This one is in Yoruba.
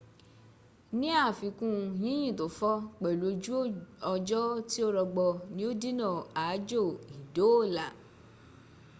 ní àfiikún yínyìn tó fọ́,̣ pẹ̀lú ojú ọjọ́ tí ò rọgbọ ní ó dínà aájò ìdóòlà